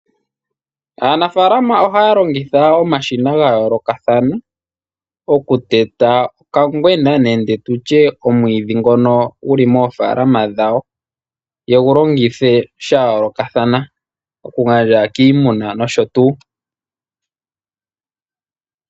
Aanafaalama ohaya longitha omashina ga yoolokathana oku teta okangwena nenge tutya omwiidhi ngono guli moofaalama dhawo, yegu longithe sha yoolokathana, oku gandja kiimuna nosho tuu.